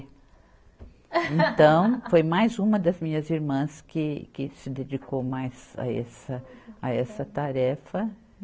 Então, foi mais uma das minhas irmãs que se dedicou mais a essa, a essa tarefa.